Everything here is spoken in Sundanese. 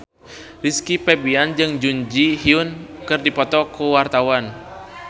Rizky Febian jeung Jun Ji Hyun keur dipoto ku wartawan